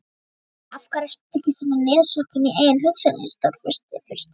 Af hverju ertu svona niðursokkinn í eigin hugsanir, Stórfursti?